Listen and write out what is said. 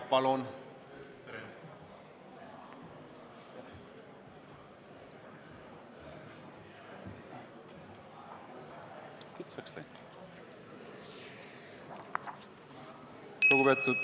Palun!